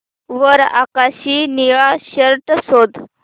वर आकाशी निळा शर्ट शोध